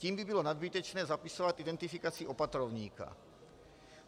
Tím by bylo nadbytečné zapisovat identifikaci opatrovníka.